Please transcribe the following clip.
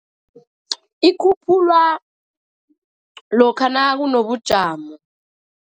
Ikhutjhulwa lokha nakunobujamo.